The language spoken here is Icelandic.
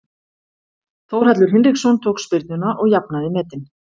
Þórhallur Hinriksson tók spyrnuna og jafnaði metin.